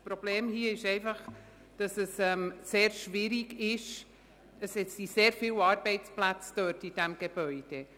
Das Problem sind in diesem Fall die vielen Arbeitsplätze in dem Gebäude.